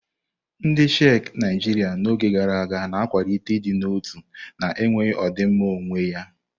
Ndị Sikh Naijiria n'oge gara aga, na akwalite ịdị n'otu na enweghị ọdịmma onwe ya.